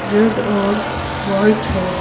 Red और white है।